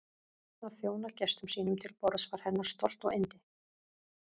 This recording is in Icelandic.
Að þjóna gestum sínum til borðs var hennar stolt og yndi.